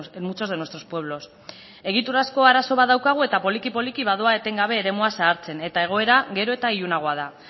en muchos de nuestros pueblos egiturazko arazo bat daukagu eta poliki poliki badoa etengabe eremua zabaltzen eta egoera gero eta ilunagoa da